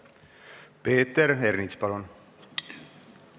Peeter Ernits, palun!